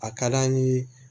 A ka d'an ye